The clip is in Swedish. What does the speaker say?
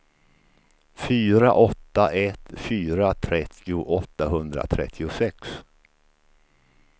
fyra åtta ett fyra trettio åttahundratrettiosex